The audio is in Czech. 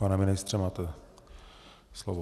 Pane ministře, máte slovo.